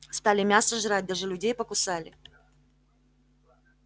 стали мясо жрать даже людей покусали